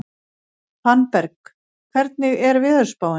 Fannberg, hvernig er veðurspáin?